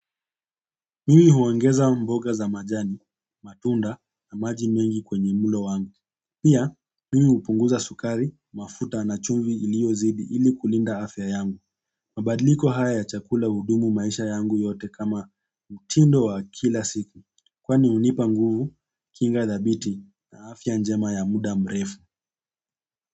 Mimi huongeza mboga za majani, matunda na maji mengi kwenye mlo wangu pia, mimi hupunguza sukari, mafuta na chumvi iliyozidi ili kulinda afya yangu. Mabadliko haya ya chakula hudumu maisha yangu yote kama mtindo wa kila siku. Kwani hunipa nguvu, kinga thabiti na afya njema ya muda mrefu.